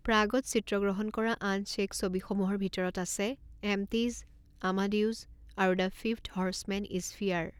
প্ৰাগত চিত্ৰগ্ৰহণ কৰা আন চে'ক ছবিসমূহৰ ভিতৰত আছে এম্পটিজ, আমাডিউছ আৰু দ্য ফিফ্থ হৰ্চমেন ইজ ফিয়াৰ।